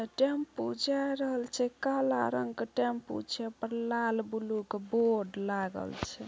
Tempo जाय रहल छै काला रंग के टेंपू छै उ पर लाल ब्लू के बोर्ड लागल छै।